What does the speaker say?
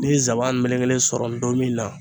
Ni ye zaban melekelen sɔrɔ donmin na